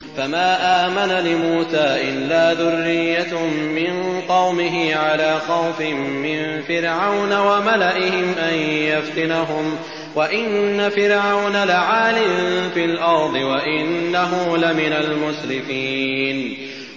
فَمَا آمَنَ لِمُوسَىٰ إِلَّا ذُرِّيَّةٌ مِّن قَوْمِهِ عَلَىٰ خَوْفٍ مِّن فِرْعَوْنَ وَمَلَئِهِمْ أَن يَفْتِنَهُمْ ۚ وَإِنَّ فِرْعَوْنَ لَعَالٍ فِي الْأَرْضِ وَإِنَّهُ لَمِنَ الْمُسْرِفِينَ